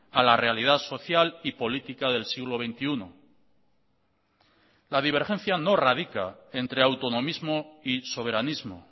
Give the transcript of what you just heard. a la realidad social y política del siglo veintiuno la divergencia no radica entre autonomismo y soberanismo